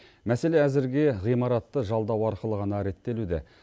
мәселе әзірге ғимаратты жалдау арқылы ғана реттелуде